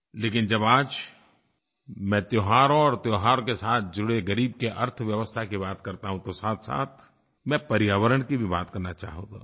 लेकिन जब आज मैं त्योहारों और त्योहार के साथ जुड़े ग़रीब की अर्थव्यवस्था की बात करता हूँ तो साथसाथ मैं पर्यावरण की भी बात करना चाहूँगा